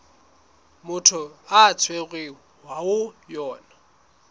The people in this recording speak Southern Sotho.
motho a tshwerweng ho yona